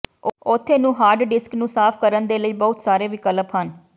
ਉੱਥੇ ਨੂੰ hard disk ਨੂੰ ਸਾਫ਼ ਕਰਨ ਦੇ ਲਈ ਬਹੁਤ ਸਾਰੇ ਵਿਕਲਪ ਹਨ